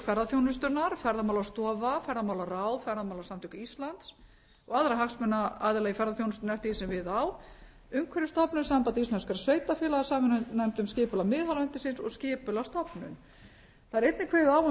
ferðaþjónustunnar ferðamálastofa ferðamálaráð ferðamálasamtök íslands og aðra hagsmunaaðila í ferðaþjónustunni eftir því sem við á umhverfisstofnun samband íslenskra sveitarfélaga samvinnunefnd um skipan miðhálendisins og skipulagsstofnun það er einnig kveðið á um